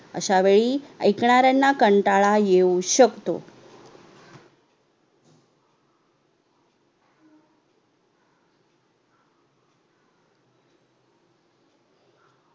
अश्या वेळी येकणार्‍यांना कंटाळा येऊ शकतो